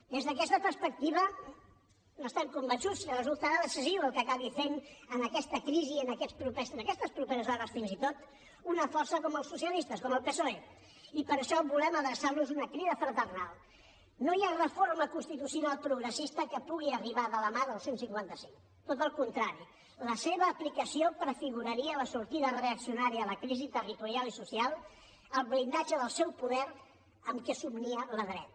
des d’aquesta perspectiva n’estem convençuts resultarà decisiu el que acabi fent en aquesta crisi en aquestes properes hores fins i tot una força com els socialistes com el psoe i per això volem adreçar los una crida fraternal no hi ha reforma constitucional progressista que pugui arribar de la mà del cent i cinquanta cinc tot al contrari la seva aplicació prefiguraria la sortida reaccionària a la crisi territorial i social el blindatge del seu poder amb què somnia la dreta